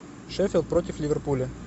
шеффилд против ливерпуля